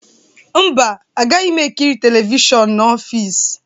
Mba, agaghị m ekiri telivishọn n'ọfịs